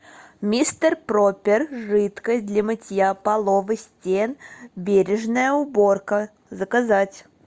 мистер пропер жидкость для мытья полов и стен бережная уборка заказать